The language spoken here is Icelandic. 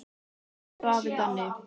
Elsku afi Danni.